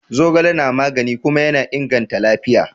Zogale na magani kuma yana inganta lafiya.